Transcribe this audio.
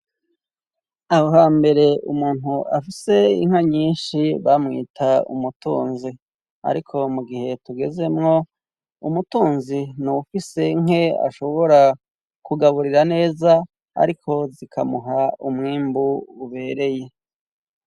Aho hambere umuntu afise inka nyinshi bamwita umutunzi ariko mu gihe tugezemwo umutunzi nufise nke ashobora kugaburira neza ariko zikamuha umwimbu ubereye.